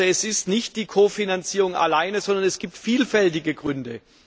Also ist es nicht die Kofinanzierung alleine, sondern es gibt vielfältige Gründe.